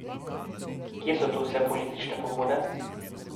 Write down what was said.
Kje so tu vse politične pobude?